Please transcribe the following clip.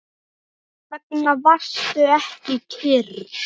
Hvers vegna varstu ekki kyrr?